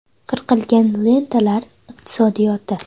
Qirqilgan lentalar iqtisodiyoti.